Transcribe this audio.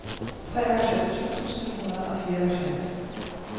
treoghalvfems tusind syv hundrede og fireoghalvfjerds